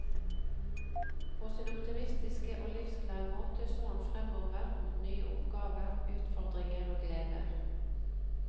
På sin optimistiske og livsglade måte så han fremover mot nye oppgaver, utfordringer og gleder.